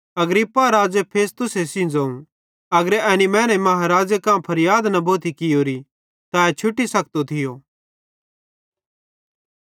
अग्रिप्पा राज़े फेस्तुस सेइं ज़ोवं अगर एनी मैने महाराज़े कां फरयाद न भोथी कियोरी त ए छुटी सखतो थियो